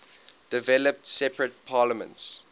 developed separate parliaments